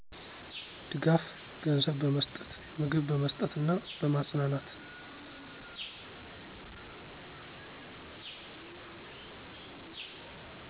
ድጋፉ ገንዘብ በመስጠት፣ ምግብ በመስጠት እና በማጽናናት